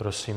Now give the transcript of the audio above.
Prosím.